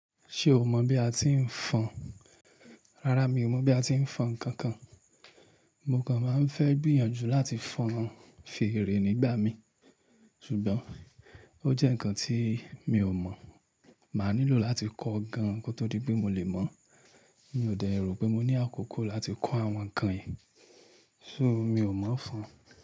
Ṣé o mọ̀ bí a ti ń fọn? Rárá mi ò mọ̀ bí a ti ń fọn ǹkan kan. Mo kan máa ń fẹ́ gbìyànjú láti fọn fèrè nígbà mí, ṣùgbọ́n ó jẹ́ ǹkan tí mi ò mọ̀. Máa nílò láti kọ́o gan kó tó di pé mo lè mọ̀. Mi ò dẹ̀ rò pé mo ní àkókò láti kọ́ àwọn ǹkan yìí. So mi ò mọ̀ fọn.